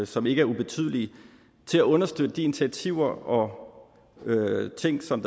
som ikke er ubetydelige til at understøtte de initiativer og ting som